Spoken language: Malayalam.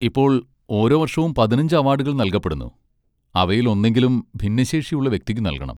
ഇപ്പോൾ, ഓരോ വർഷവും പതിനഞ്ച് അവാഡുകൾ നൽകപ്പെടുന്നു, അവയിലൊന്നെങ്കിലും ഭിന്നശേഷിയുള്ള വ്യക്തിക്ക് നൽകണം.